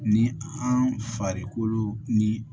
Ni an farikolo ni